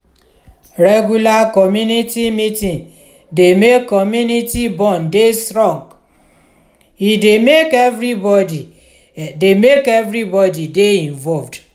regular community meeting dey make community bond dey strong e dey make everybody dey make everybody dey involved